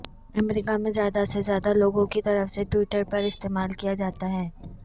امریکہ میں زیادہ سے زیادہ لوگوں کی طرف سے ٹویٹر پر استعمال کیا جاتا ہے